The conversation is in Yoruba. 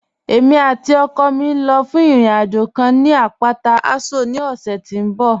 Ẹ̀mi àti ọkọ mi ń lọ́ fún ìrìn-àjọ̀ kàn ni apátà Àṣọ̀ ní ọ̀ṣẹ̀ tí n bọ̀